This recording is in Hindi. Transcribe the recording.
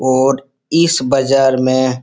और इस बजार में --